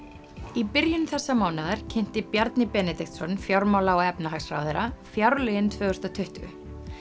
í byrjun þessa mánaðar kynnti Bjarni Benediktsson fjármála og efnahagsráðherra fjárlögin tvö þúsund og tuttugu